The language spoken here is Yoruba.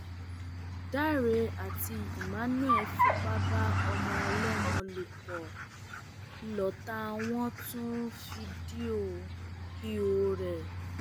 dáre àti emmanuel fipá bá ọmọ ọlọmọ lò pọ lọtà wọn tún fídíò ìhòòhò ẹ